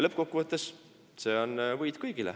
Lõppkokkuvõttes on see kõigi võit.